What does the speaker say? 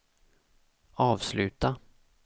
avsluta